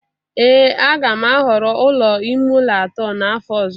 ee a ga m ahọrọ ụlọ ime ụlọ atọ n'afọ ọzọ